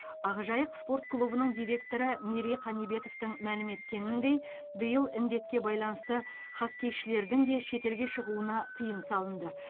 ақжайық спорт клубының директоры мерей қанибетовтің мәлім еткеніндей биыл індетке байланысты хоккейшілердің де шетелге шығуына тыйым салынды